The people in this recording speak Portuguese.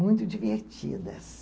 Muito divertidas.